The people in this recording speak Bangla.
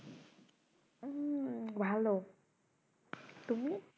হুম ভালো তুমি?